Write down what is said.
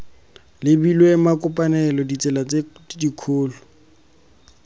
lebilwe makopanelo ditsela tse dikgolo